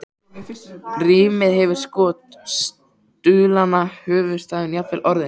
Rímið hefur skort, stuðlana, höfuðstafinn, jafnvel orðin.